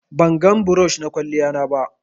bangan brush na kwaliyan na ba